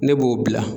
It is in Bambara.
Ne b'o bila